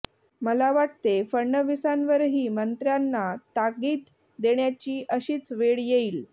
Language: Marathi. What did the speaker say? मला वाटते फडणवीसांवरही मंत्र्यांना ताकीद देण्याची अशीच वेळ येईल